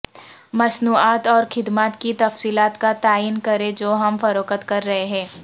مصنوعات اور خدمات کی تفصیلات کا تعین کریں جو ہم فروخت کر رہے ہیں